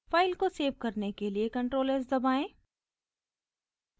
file को save करने के लिए ctrl+s दबाएं